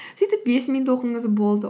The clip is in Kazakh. сөйтіп бес минут оқыңыз болды